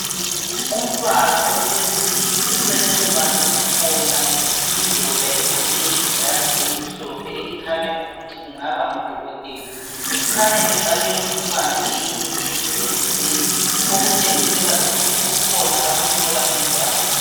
Umntwana ohleziyo eceleni kwakhe kukhona indoda egqoke ijazi elimhlophe elikhanya ukuthi kungaba ngudokotela, kukhanya efake umntwana eyinye into endlebeni okutshengisela ukuthi kukhona akuhlola umntwana.